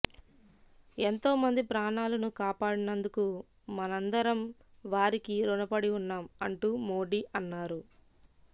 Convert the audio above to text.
ఎంతోమంది ప్రాణాలను కాపాడినందుకు మనందరం వారికి ఋణపడి ఉన్నాం అంటూ మోడీ అన్నారు